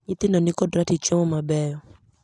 Nyithindo ni kod ratich chiemo mabeyo.